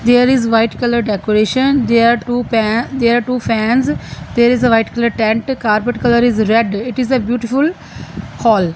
here is white colour decoration there are two pa there two fans there is a white colour tent carpet colour is red it is a beautiful hall.